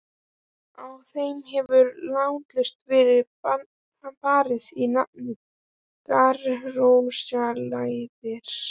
Á þeim hefur látlaust verið barið í nafni grasrótarlýðræðis.